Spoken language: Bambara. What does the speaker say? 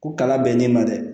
Ko kala bɛ n'i ma dɛ